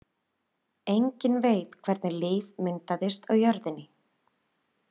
Enginn veit hvernig líf myndaðist á jörðinni.